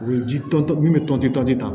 U bɛ ji tɔntɔn min bɛ tɔntɔn tɛ